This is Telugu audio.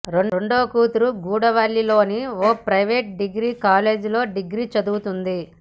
రెండో కూతురు గూడవల్లిలోని ఓ ప్రైవేట్ డిగ్రీ కాలేజీలో డిగ్రీ చదువుతోంది